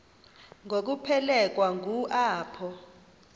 ngokuphelekwa ngu apho